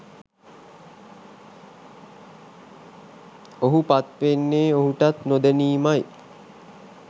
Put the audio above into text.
ඔහු පත්වෙන්නෙ ඔහුටත් නොදැනීමයි.